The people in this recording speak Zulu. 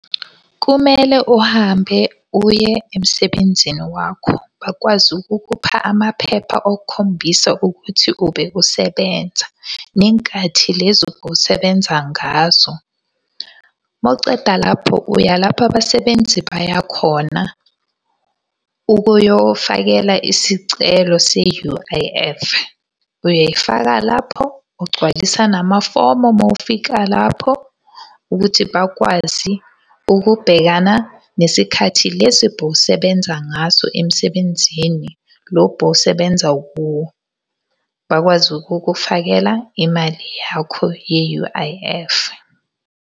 Kumele uhambe uye emsebenzini wakho, bakwazi ukukupha amaphepha okukhombisa ukuthi ubewusebenza, nenkathi lezi ubusebenza ngazo. Mawuceda lapho uya lapho abasebenzi baya khona, ukuyofakela isicelo se-U_I_F. Uyayifaka lapho, ugcwalisa namafomu uma ufika lapho, ukuthi bakwazi ukubhekana nesikhathi lesi bowusebenza ngaso emsebenzini, lo bowusebenza kuwo. Bakwazi ukukufakela imali yakho ye-U_I_F.